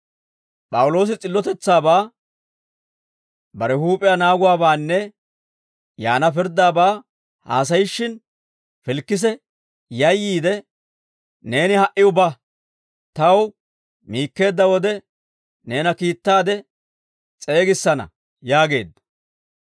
P'awuloosi s'illotetsaabaa, bare huup'iyaa naaguwaabaanne yaana pirddaabaa haasayishshin, Filikise yayyiide, «Neeni ha"iw ba; taw miikkeedda wode, neena kiittaade s'eegissana» yaageedda.